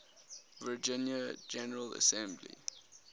virginia general assembly